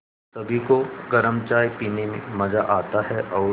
सभी को गरम चाय पीने में मज़ा आता है और